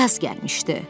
Yaz gəlmişdi.